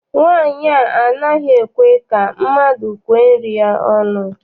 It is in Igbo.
Nwaanyi a anaghị ekwe ka mmadụ kwee nri ya ọnụ.